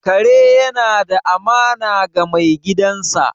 Kare yana da amana ga mai gidansa